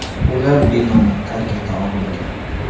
Ular binoni tark eta olmagan.